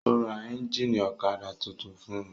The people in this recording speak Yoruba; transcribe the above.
Ó ra ẹ́ńjínì ọ̀kadà tuntun fún un.